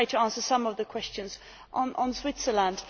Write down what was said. I will try to answer some of the questions on Switzerland.